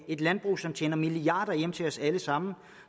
et landbrug som tjener milliarder hjem til os alle sammen